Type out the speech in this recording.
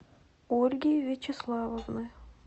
ольги вячеславовны